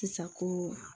Sisan ko